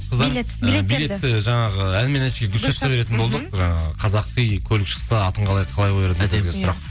жаңағы ән мен әншіге гүлшатқа беретін болдық жаңағы қазақи көлік шықса атын қалай қояр едің